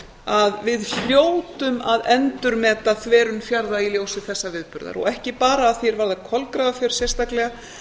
að við hljótum að endurmeta þverun fjarða í ljósi þessa viðburðar og ekki bara að því er varðar kolgrafafjörð sérstaklega